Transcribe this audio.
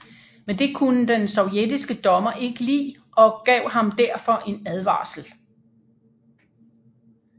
Men det kunne den sovjetiske dommer ikke lide og gav ham derfor en advarsel